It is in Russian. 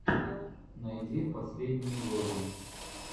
найди последние влоги